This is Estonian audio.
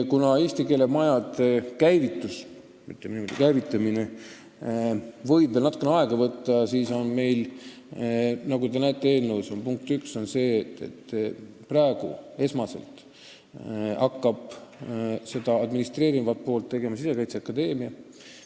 Kuna eesti keele majade käivitamine võib veel natukene aega võtta, siis on nii, nagu te näete eelnõu punktist 1, et esmalt hakkab seda administreerivat poolt vedama Sisekaitseakadeemia.